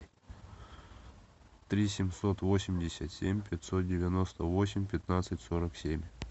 три семьсот восемьдесят семь пятьсот девяносто восемь пятнадцать сорок семь